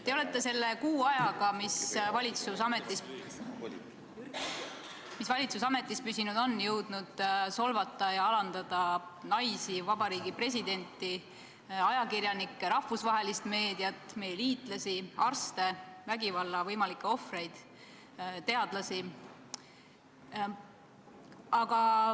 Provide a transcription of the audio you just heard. Te olete selle kuu ajaga, kui valitsus ametis püsinud on, jõudnud solvata ja alandada naisi, presidenti, ajakirjanikke, rahvusvahelist meediat, meie liitlasi, arste, vägivalla võimalikke ohvreid, teadlasi.